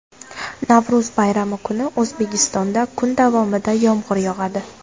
Navro‘z bayrami kuni O‘zbekistonda kun davomida yomg‘ir yog‘adi.